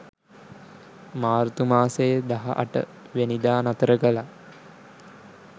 මාර්තු මාසේ දහ අට වැනිදා නතර කළා.